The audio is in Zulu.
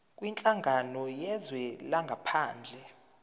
kwinhlangano yezwe langaphandle